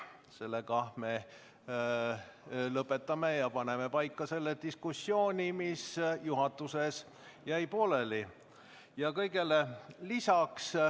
Sellega me lõpetame ja lahendame diskussiooni, mis juhatuses pooleli jäi.